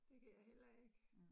Det kan jeg heller ikke